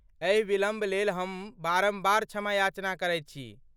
एहि विलम्ब लेल हम बारम्बार क्षमायाचना करैत छी।